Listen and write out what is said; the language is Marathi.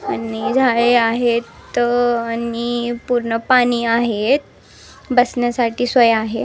आहेत त आणि पुर्ण पाणी आहेत बसण्यासाठी सोय आहे.